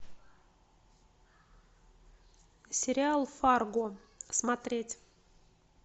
сериал фарго смотреть